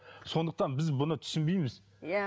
сондықтан біз бұны түсінбейміз иә